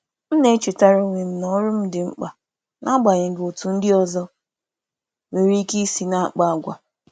M na-echetara onwe m na ọrụ m dị mkpa, n’agbanyeghị otú ndị ọzọ si akpa àgwà.